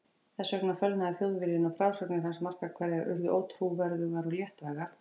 Vegna þessa fölnaði Þjóðviljinn og frásagnir hans margar hverjar urðu ótrúverðugar og léttvægar.